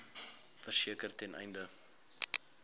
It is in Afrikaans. verseker ten einde